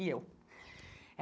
E eu.